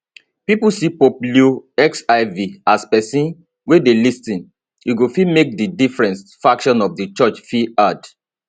pipo see pope leo xiv as pesin wey dey lis ten e go fit make di different factions of di church feel heard